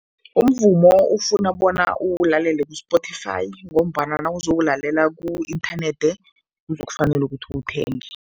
Umvumo ufuna bona uwulalela ku-Spotify ngombana nawuzowulalela ku-inthanethi kuzokufanele ukuthi uwuthenge.